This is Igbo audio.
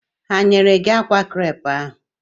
Ha o nyere gị akwa krep ahụ?